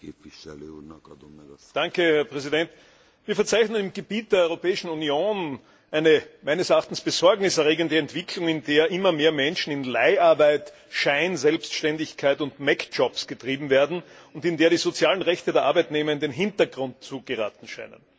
Herr Präsident! Wir verzeichnen im Gebiet der Europäischen Union eine meines Erachtens besorgniserregende Entwicklung, in der immer mehr Menschen in Leiharbeit, Scheinselbstständigkeit und getrieben werden und in der die sozialen Rechte der Arbeitnehmer in den Hintergrund zu geraten scheinen.